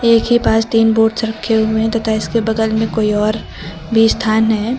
एक ही पास तीन बोर्ड्स रखे हुए हैं तथा इसके बगल में कोई और भी स्थान है।